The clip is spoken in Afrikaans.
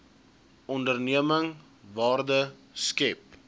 onderneming waarde skep